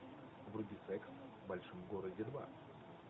вруби секс в большом городе два